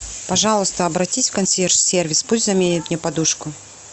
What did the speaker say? пожалуйста обратись в консьерж сервис пусть заменят мне подушку